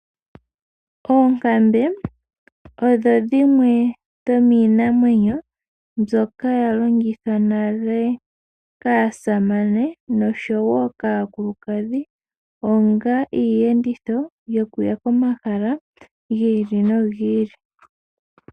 Oonkambe odho dhimwe dhomiinamwenyo ndhoka dha longithwa nale kaamasane oshowo kaakulukadhi onga iiyenditho yokuya komahala gi ili nogi ili.